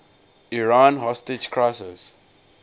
iran hostage crisis